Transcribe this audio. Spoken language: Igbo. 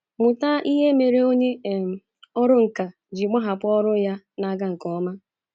Mụta ihe mere onye um ọrụ nkà ji gbahapụ ọrụ ya na-aga nke ọma.